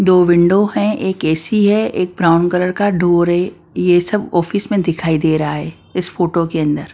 दो विंडो है एक ए_सी है एक ब्राउन कलर का डोर है ये सब ऑफिस में दिखाई दे रहा है इस फोटो के अंदर।